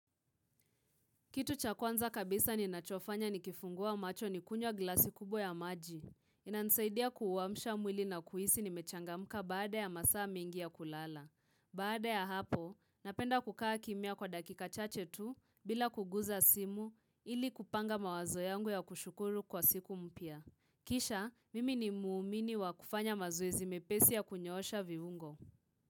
Kitu cha kwanza kabisa ninachofanya nikifungua macho ni kunywa glasi kubwa ya maji. Inanisaidia kuamsha mwili na kuhisi nimechangamka baada ya masaa mengi ya kulala. Baada ya hapo, napenda kukaa kimya kwa dakika chache tu bila kuguza simu ili kupanga mawazo yangu ya kushukuru kwa siku mpya. Kisha, mimi ni muumini wa kufanya mazoezi mepesi ya kunyosha vivungo.